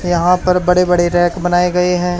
यहां पर बड़े बड़े रैक बनाए गए हैं।